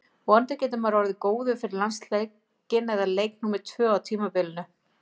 Vonandi verður maður orðinn góður fyrir landsleikinn eða leik númer tvö á tímabilinu.